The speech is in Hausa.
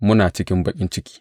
Muna cikin baƙin ciki.